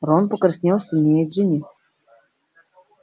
рон покраснел сильнее джинни